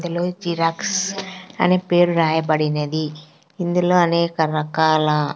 Telugu xerox అనే పేరు రాయబడినది ఇందులో అనేక రకాల.